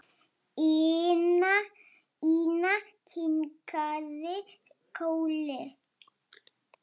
Ína kinkaði kolli.